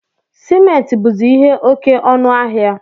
Simenti buzi ihe oke ọnụ ahịa